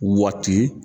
Waati